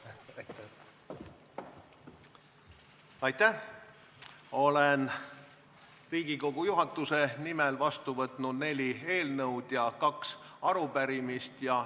OIen Riigikogu juhatuse nimel võtnud vastu neli eelnõu ja kaks arupärimist.